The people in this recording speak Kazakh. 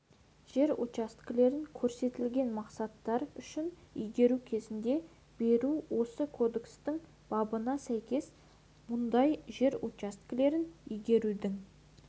жер учаскелерін көрсетілген мақсаттар үшін игеру кезеңіне беру осы кодекстің бабына сәйкес мұндай жер учаскелерін игерудің